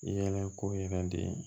I yɛlɛla ko yɛrɛ de